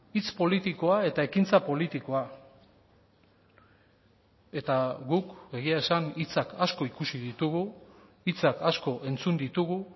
hitz politikoa eta ekintza politikoa eta guk egia esan hitzak asko ikusi ditugu hitzak asko entzun ditugu